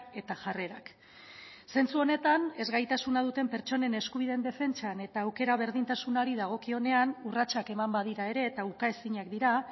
eta jarrerak zentzu honetan ezgaitasuna duten pertsonen eskubideen defentsan eta aukera berdintasunari dagokionean urratsak eman badira ere eta ukaezinak dira